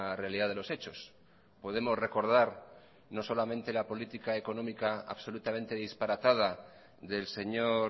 realidad de los hechos podemos recordar no solamente la política económica absolutamente disparatada del señor